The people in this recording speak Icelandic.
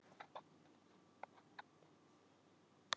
Pass EKKI erfiðasti andstæðingur?